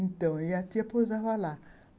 Então, a tia posava lá.